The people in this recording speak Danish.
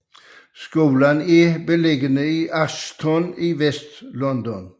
Skolen er beliggende i Acton i Vestlondon